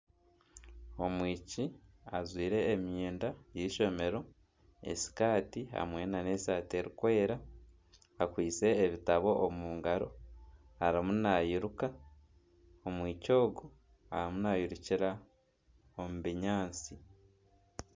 Omwishiki ajwaire emyenda y’eishomero esikaati hamwe nana esaati erikwera akwaitse ebitabo omu ngaro arimu nairuka omwishiki ogu arimu nairukira omu binyaatsi.